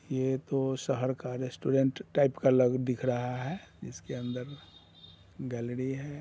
ये तो शहर का रेस्टोरेंट टाइप का लग दिख रहा है | इसके अंदर गैलरी है।